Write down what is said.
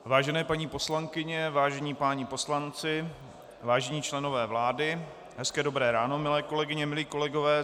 Vážené paní poslankyně, vážení páni poslanci, vážení členové vlády, hezké dobré ráno, milé kolegyně, milí kolegové.